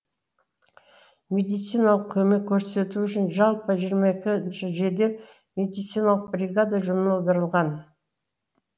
медициналық көмек көрсету үшін жалпы жиырма екі жедел медициналық бригада жұмылдырылған